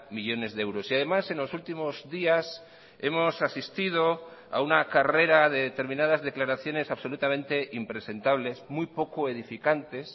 millónes de euros y además en los últimos días hemos asistido a una carrera de determinadas declaraciones absolutamente impresentables muy poco edificantes